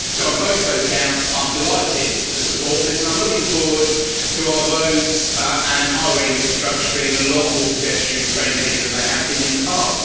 So on both those counts, I'm delighted to support this, and I'm looking forward to our roads and highway infrastructure being a lot more pedestrian friendly than they have been in the past.